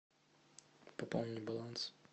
пополнить баланс